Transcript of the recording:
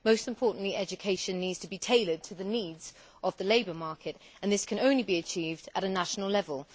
Most importantly, education needs to be tailored to the needs of the labour market and this can only be achieved at a national level.